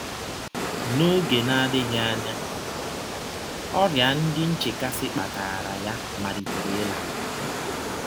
N’ọge na - adịghị anya, ọrịa ndị nchekasị kpataara ya malitere ịla.